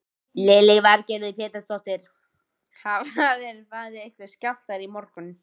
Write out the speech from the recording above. Lillý Valgerður Pétursdóttir: Hafa verið einhverjir skjálftar í morgun?